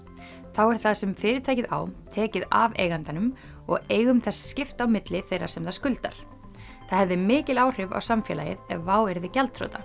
þá er það sem fyrirtækið á tekið af eigandanum og eigum þess skipt á milli þeirra sem það skuldar það hefði mikil áhrif á samfélagið ef WOW yrði gjaldþrota